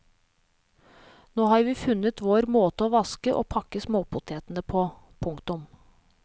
Nå har vi funnet vår måte å vaske og pakke småpotetene på. punktum